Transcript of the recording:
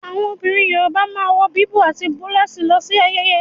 Àwọn obìnrin yorùbá máa n wò wíwú ati bulose lọ si ayẹyẹ.